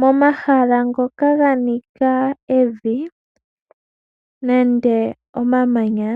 Momahala ngoka ga nika evi, nenge omamanya,